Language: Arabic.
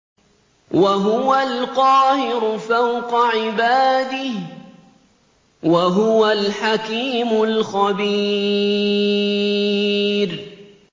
وَهُوَ الْقَاهِرُ فَوْقَ عِبَادِهِ ۚ وَهُوَ الْحَكِيمُ الْخَبِيرُ